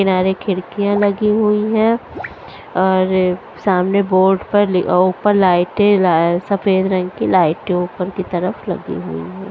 किनारे खिड़कियाँ लगी हुई हैं और सामने बोर्ड पर लि ऊपर लाइटे लाय सफेद रंग की लाइटे ऊपर की तरफ लगी हुई हैं।